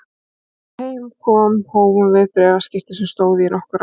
Þegar heim kom hófum við bréfaskipti sem stóðu í nokkur ár.